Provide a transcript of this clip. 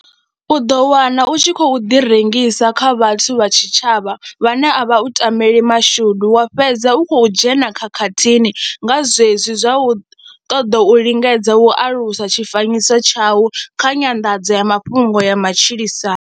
U ḓo wana u tshi khou ḓirengisa kha vhathu vha tshitshavha vhane a vha u tameli mashudu, wa fhedza u khou dzhena khakhathini nga zwezwi zwa u ṱoḓa u lingedza u alusa tshifanyiso tshau kha nyanḓadzo ya mafhungo ya matshilisano.